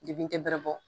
Dekun tɛ bɛrɛ bɔ